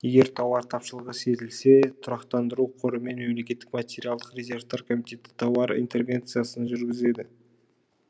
егер тауар тапшылығы сезілсе тұрақтандыру қоры мен мемлекеттік материалдық резервтер комитеті тауар интервенциясын жүргізеді